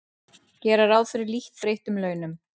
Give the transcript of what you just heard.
Gera ráð fyrir lítt breyttum launum